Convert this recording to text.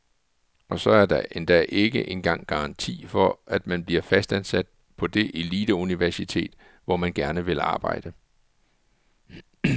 Og så er der endda ikke engang garanti for at man bliver fastansat på det eliteuniversitet, hvor man gerne vil arbejde.